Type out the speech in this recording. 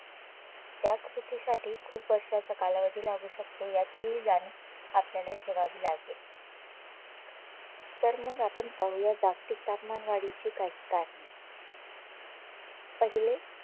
त्या कृतीसाठी खूप वर्षाचा कालावधी लागू शकतो याचीहि जाणीव आपल्याला ठेवावी लागेल तर मग आपण पाहूया जागतिक तापमानवाढीची काही करणे पहिले